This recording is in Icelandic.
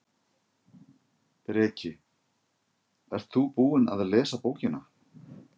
Breki: Ert þú búinn að lesa bókina?